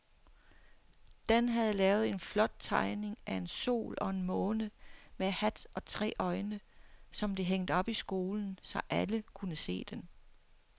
Dan havde lavet en flot tegning af en sol og en måne med hat og tre øjne, som blev hængt op i skolen, så alle kunne se den.